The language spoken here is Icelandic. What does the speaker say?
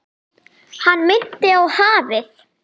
Hann minnti á hafið.